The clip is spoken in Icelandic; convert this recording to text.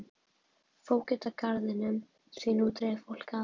Fógeta garðinum því nú dreif fólk að.